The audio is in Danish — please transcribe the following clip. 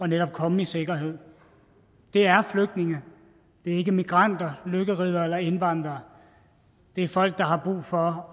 netop at komme i sikkerhed det er flygtninge det er ikke migranter lykkeriddere eller indvandrere det er folk der har brug for